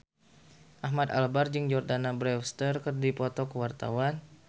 Ahmad Albar jeung Jordana Brewster keur dipoto ku wartawan